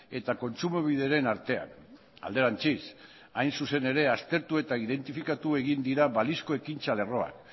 eta kontsumobideren artean alderantziz hain zuzen ere aztertu eta identifikatu egin dira balizko ekintza lerroa